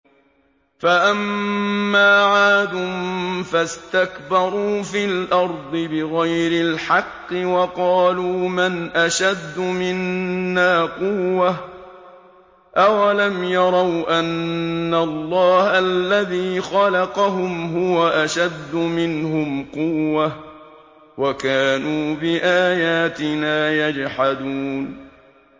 فَأَمَّا عَادٌ فَاسْتَكْبَرُوا فِي الْأَرْضِ بِغَيْرِ الْحَقِّ وَقَالُوا مَنْ أَشَدُّ مِنَّا قُوَّةً ۖ أَوَلَمْ يَرَوْا أَنَّ اللَّهَ الَّذِي خَلَقَهُمْ هُوَ أَشَدُّ مِنْهُمْ قُوَّةً ۖ وَكَانُوا بِآيَاتِنَا يَجْحَدُونَ